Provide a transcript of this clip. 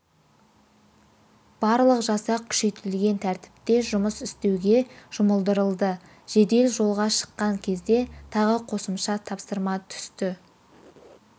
барлық жасақ күшейтілген тәртіпте жұмыс істеуге жұмылдырылды жедел жолға шыққан кезде тағы қосымша тапсырма түсті